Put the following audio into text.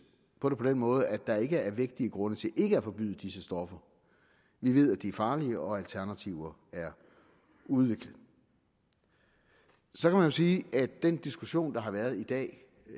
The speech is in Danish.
på den måde at der ikke er vægtige grunde til ikke at forbyde disse stoffer vi ved at de er farlige og at alternativer er udviklet så kan man sige at den diskussion der har været i dag